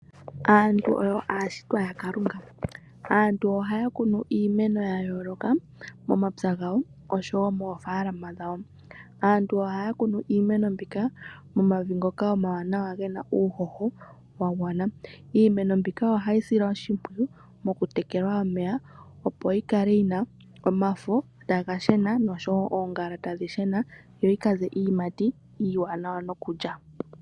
Aantu oyo aashitwa yaKalunga. Aantu ohaya kunu iimeno ya yooloka momapya gawo, osho wo moofaalama dhawo. Aantu ohaya kunu iimeno mbika momavi ngoka omawanawa ge na uuhoho wa gwana. Iimeno mbika ohayi silwa oshimpwiyu mokutekelwa omeya, opo yi kale yi na omafo taga shena, nosho wo oongala tadhi shena, yo yi ka ze iiyimati iiwanawa nokulya.